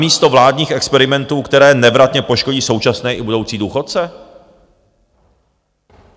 Namísto vládních experimentů, které nevratně poškodí současné i budoucí důchodce?